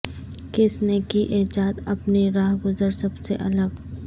کس نے کی ایجاد اپنی رہ گزرسب سے الگ